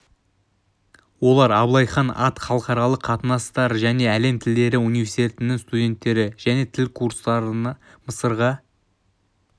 олар аблай хан ат халықаралық қатынастар және әлем тілдері университетінің студенттері және тіл курстарына мысырға